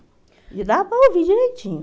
E eu dava para ouvir direitinho.